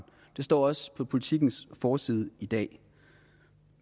det står også på politikens forside i dag